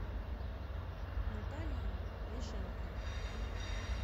наталии ляшенко